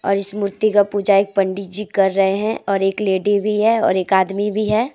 इस मूर्ति का पूजा एक पंडित जी कर रहे हैं और एक लेडी भी है और एक आदमी भी है।